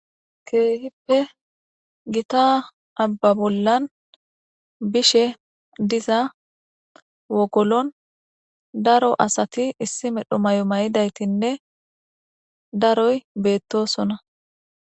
Keehippe gita abba bollan bishe diza wogolon daro asati issi medho mayo mayidaytinne daroy beettosona.